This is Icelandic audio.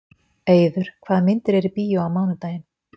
Eiður, hvaða myndir eru í bíó á mánudaginn?